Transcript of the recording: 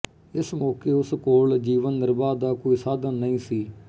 ਇਸ ਮੌਕੇ ਉਸ ਕੋਲ ਜੀਵਨ ਨਿਰਬਾਹ ਦਾ ਕੋਈ ਸਾਧਨ ਨਹੀਂ ਸੀ